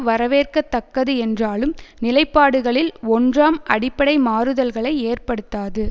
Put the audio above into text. வரவேற்கத்தக்கது என்றாலும் நிலைப்பாடுகளில் ஒன்றாம் அடிப்படை மாறுதல்களை ஏற்படுத்தாது